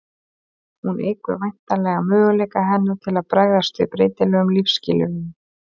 hún eykur væntanlega möguleika hennar til að bregðast við breytilegum lífsskilyrðum